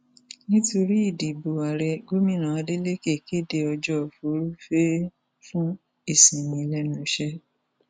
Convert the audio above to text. nítorí ìdìbò ààrẹ gomina adeleke kéde ọjọ furuufee fún ìsinmi lẹnu iṣẹ